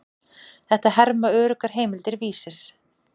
Þetta herma öruggar heimildir Vísis.